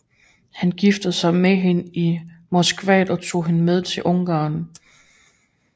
Han giftede sig med hende i Moskva og tog hende med hjem til Ungarn